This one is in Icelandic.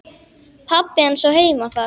Pabbi hans á heima þar.